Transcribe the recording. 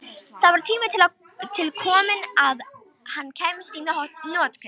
Það var tími til kominn að hann kæmist í notkun!